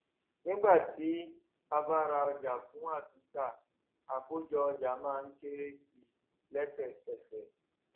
nígbà tí a bá ra ọjà fún àtúntà àkójọ ọjà má ń kéré sí i lẹsẹkẹsẹ